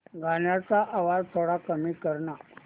गाण्याचा आवाज थोडा कमी कर ना